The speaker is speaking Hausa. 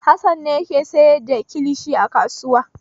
Hassan ne yake sayar da kilishi a kasuwa.